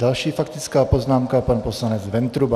Další faktická poznámka, pan poslanec Ventruba.